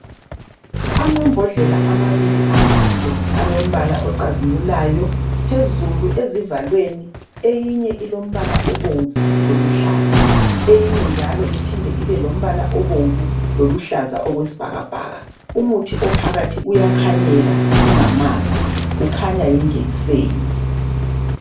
Amambodlela amabili amade alombala ocazimulayo. Phezulu ezivalweni eyinye ilombala obomvu loluhlaza. Eyinye njalo iphinde ibe lombala obomvu loluhlaza okwesibhakabhaka. Umuthi ophakathi uyakhanyela, ungamanzi. Kukhanya yijekiseni.